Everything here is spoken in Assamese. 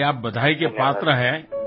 সেইবাবে আপুনি ধন্যবাদৰ পাত্ৰ